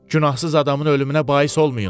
Günahsız adamın ölümünə bais olmayın.